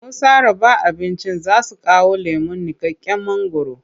Masu raba abincin za su kawo lemon niƙaƙƙen mangwaro.